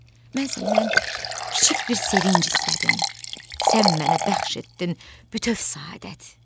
Mən səndən kiçik bir sevinc istədim, sən mənə bəxş etdin bütöv səadət.